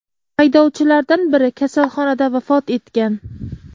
Haydovchilardan biri kasalxonada vafot etgan.